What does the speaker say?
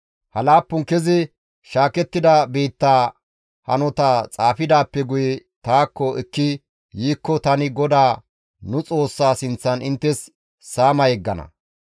Ha laappun kezi shaakettida biittaa hanota xaafidaappe guye taakko ekki yiikko tani GODAA nu Xoossaa sinththan inttes saama yeggana.